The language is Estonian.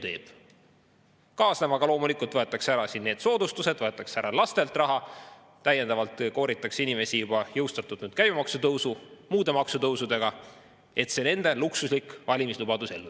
Sellega kaasnevalt loomulikult võetakse ära soodustused, võetakse lastelt raha ära, kooritakse inimesi täiendavalt juba jõustatud käibemaksu tõusu ja muude maksutõusudega, et viia ellu see nende luksuslik valimislubadus.